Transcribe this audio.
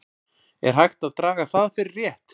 Er hægt að draga það fyrir rétt?